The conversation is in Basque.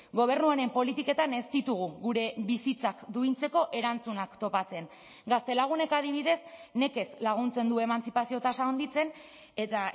gobernu honen politiketan ez ditugu gure bizitzak duintzeko erantzunak topatzen gaztelagunek adibidez nekez laguntzen du emantzipazio tasa handitzen eta